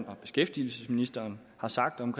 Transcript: og beskæftigelsesministeren har sagt om